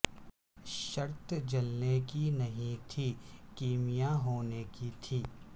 شرط جلنے کی نہیں تھی کیمیا ہونے کی تھی